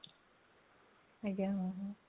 ଆଜ୍ଞା ହଁ ହଁ